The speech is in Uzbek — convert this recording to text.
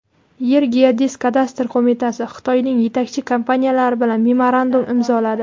"Yergeodezkadastr" qo‘mitasi Xitoyning yetakchi kompaniyalari bilan memorandum imzoladi.